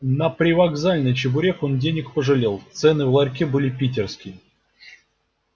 на привокзальный чебурек он денег пожалел цены в ларьке были питерские